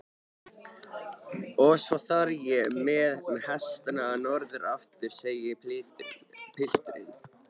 Og svo þarf ég með hestana norður aftur, segir pilturinn.